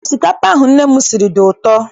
Osikapa ahụ nne m siri dị ụtọ.